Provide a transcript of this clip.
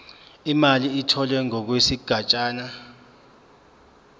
imali etholwe ngokwesigatshana